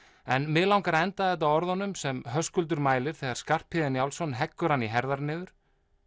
en mig langar að enda þetta á orðunum sem Höskuldur mælir þegar Skarphéðinn Njálsson heggur hann í herðar niður